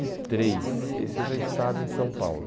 e três. Esse eu já estava em São Paulo.